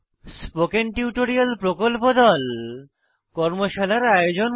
spoken tutorial প্রকল্প দল কর্মশালার আয়োজন করে